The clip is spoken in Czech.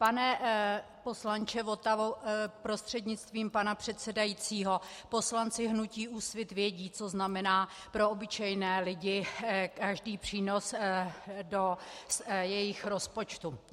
Pane poslanče Votavo prostřednictvím pana předsedajícího, poslanci hnutí Úsvit vědí, co znamená pro obyčejné lidi každý přínos do jejich rozpočtu.